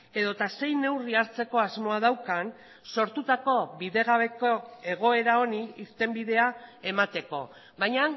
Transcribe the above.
edota zein neurri hartzeko asmoa daukan sortutako bidegabeko egoera honi irtenbidea emateko baina